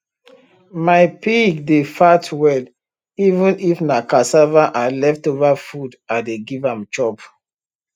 my pig dey fat well even if na cassava and leftover food i dey give am chop